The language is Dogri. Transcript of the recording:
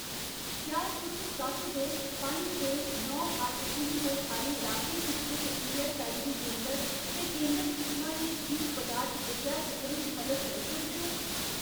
क्या तुस सत्त दो पंज दो नौ अट्ठ पिनकोड आह्‌ले लाके च स्थित ईऐस्सआईसी केंदर ते केंदर किसमा दी जीव पदार्थ विद्या तुप्पने च मदद करी सकदे ओ ?